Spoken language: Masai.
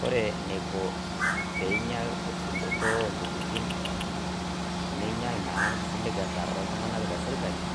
Kore neiko peinyial esudoto ontokitin neinyial naa nkisiligata oltung'anak te sirkali